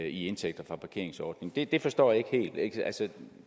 i indtægter fra parkeringsordninger det forstår jeg ikke helt altså